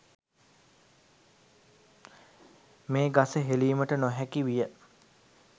මේ ගස හෙළීමට නොහැකි විය.